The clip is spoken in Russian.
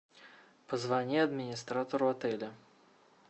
позвони администратору отеля